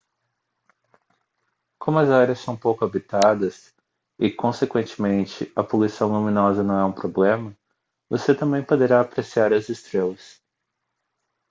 como as áreas são pouco habitadas e consequentemente a poluição luminosa não é um problema você também poderá apreciar as estrelas